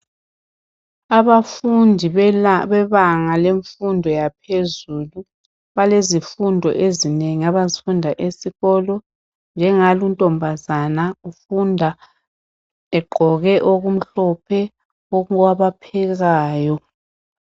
Abafundi bebanga lemfundo yaphezulu balezifundo ezinengi abazifunda esikolo njengaluntombazana ufunda egqoke okumhlophe okwabaphekayo.